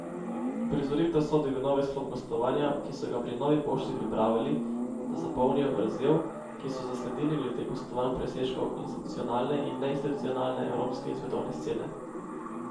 Uprizoritev sodi v novi sklop Gostovanja, ki so ga pri Novi pošti pripravili, da zapolnijo vrzel, ki so jo zasledili glede gostovanj presežkov institucionalne in neinstitucionalne evropske in svetovne scene.